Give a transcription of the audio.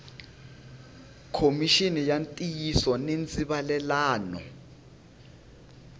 khomixini ya ntiyiso ni ndzivalelano